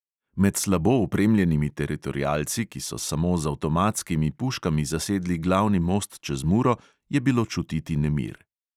Med slabo opremljenimi teritorialci, ki so samo z avtomatskimi puškami zasedli glavni most čez muro, je bilo čutiti nemir.